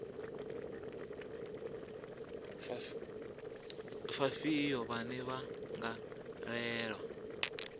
vhafhio vhane vha nga lwela